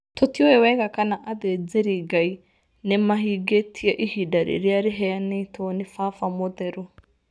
Tũtiũĩ wega kana athĩnjĩri Ngai nĩ mavingĩtie ivinda rĩrĩa rĩaveanĩtwo nĩ vava mũtheru.